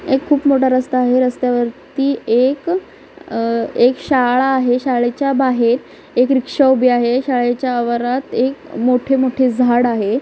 एक खूप मोठा रस्ता आहे रस्त्यावरती एक अह एक शाळा आहे शाळेच्या बाहेर एक रिक्षा उभी आहे शाळेच्या आवारात एक मोठे-मोठे झाड आहे.